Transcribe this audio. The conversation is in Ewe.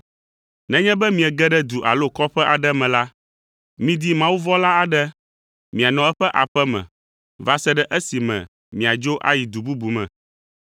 Nenye be miege ɖe du alo kɔƒe aɖe me la, midi mawuvɔ̃la aɖe mianɔ eƒe aƒe me va se ɖe esime miadzo ayi du bubu me.